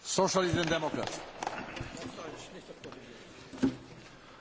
Herr Präsident, meine sehr verehrten Damen und Herren, liebe Kolleginnen und Kollegen!